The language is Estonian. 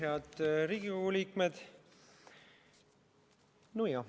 Head Riigikogu liikmed!